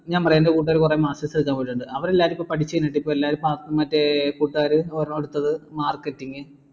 ഞാൻ പറയാം എൻറെ കൂട്ടുകാർ കുറേ masters എടുക്കാൻ പോയിട്ടുണ്ട് അവര് എല്ലാരും ഇപ്പൊ പഠിച്ച് കഴിഞ്ഞിട്ട് ഇപ്പോ എല്ലാരും pass മറ്റേ കൂട്ടുകാർ അടുത്തത് marketing